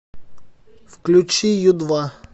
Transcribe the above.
включи ю два